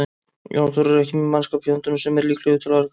Jón Þór er ekki með mannskap í höndunum sem er líklegur til afreka.